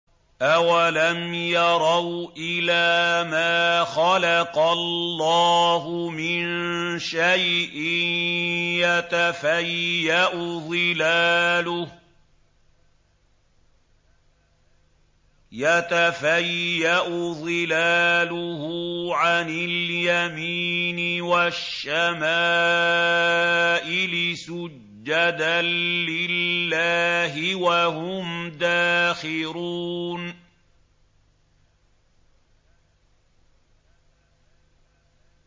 أَوَلَمْ يَرَوْا إِلَىٰ مَا خَلَقَ اللَّهُ مِن شَيْءٍ يَتَفَيَّأُ ظِلَالُهُ عَنِ الْيَمِينِ وَالشَّمَائِلِ سُجَّدًا لِّلَّهِ وَهُمْ دَاخِرُونَ